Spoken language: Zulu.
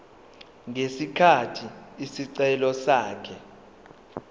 ngesikhathi isicelo sakhe